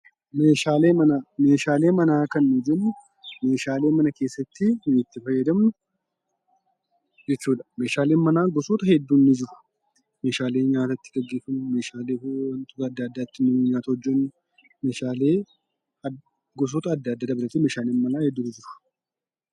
Meeshaalee manaa: Meeshaalee manaa kan nu jennu meeshaalee mana keessa ittiin itti fayyadamnu jechuudha. Meeshaaleen manaa gosoota hedduun ni jiru. Meeshaaleen nyaata itti geggeeffamu, meeshaalee adda addaa ittiin nyaata hojjennu, meeshaalee gosoota adda addaa dabalatee meeshaaleen manaa hedduutu jiru.